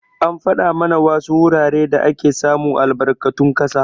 An fada mana wasu wuraren da ake samun albarkatun ƙasa.